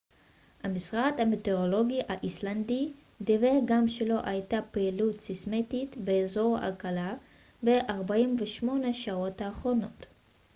המשרד המטאורולוגי האיסלנדי דיווח גם שלא הייתה פעילות סייסמית באזור הקלה ב-48 השעות האחרונות